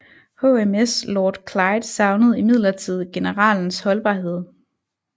HMS Lord Clyde savnede imidlertid generalens holdbarhed